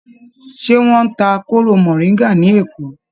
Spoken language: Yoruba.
Ṣé wọ́n ń ta kóró mọ̀ríńgà ní Èkó?